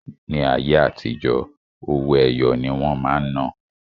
Ní ayé àtijó, owó-ẹyọ ní wọn máa ń ná